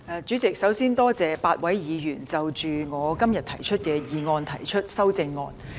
主席，首先多謝8位議員就我今天的議案提出修正案。